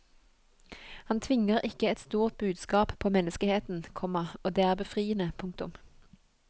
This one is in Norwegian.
Han tvinger ikke et stort budskap på menneskeheten, komma og det er befriende. punktum